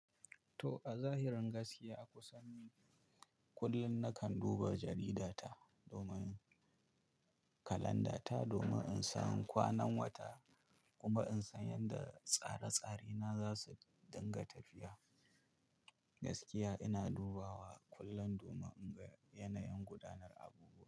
To, a zahirin gaskiya, a kusan kullum na kan duba jaridata domin kalanda ta domin in san kwanan wata kuma in san yadda tsare-tsarena za su dinga tafiya. Gaskiya ina dubawa kullum domin in ga yanayin gudanar abubuwa.